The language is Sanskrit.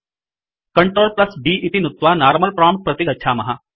Ctrl D इति नुत्त्वा नार्मल प्रोम्प्ट प्रति गच्छामः